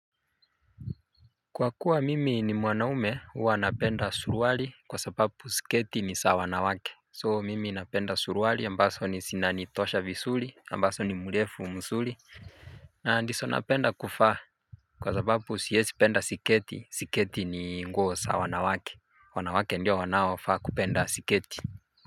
Kwa kuwa mimi ni mwanaume huwa napenda suruali kwa sababu sketi ni za wanawake So mimi napenda suruali ambazo ni zinanitosha vizuri ambazo ni mrefu mzuri. Na ndizo napenda kuvaa kwa sababu siezi penda sketi sketi ni nguo za wanawake. Wanawake ndio wanaofaa kupenda sketi. Kwa hivyo.